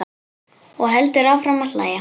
Og heldur áfram að hlæja.